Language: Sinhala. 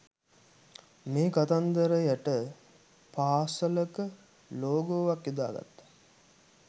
මේ කත්නදතරයට පාසලක ලෝගෝවක් යොදා ගත්තා